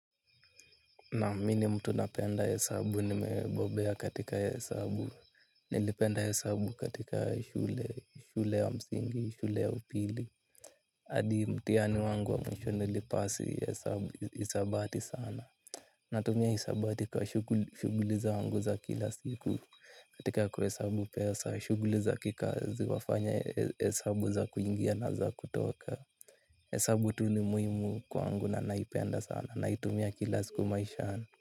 Nam mi ni mtu napenda hesabu nimebobea katika hesabu, nilipenda hesabu katika shule, shule ya msingi, shule ya upili. Hadi mtihani wangu wa mwisho nilipasi hesabu, hisabati sana. Natumia hisabati kwa shughuli zangu za kila siku katika kuhesabu pesa, shughuli za kikazi, wafanya hesabu za kuingia na za kutoka. Hesabu tu ni muhimu kwangu na naipenda sana, naitumia kila siku maishani.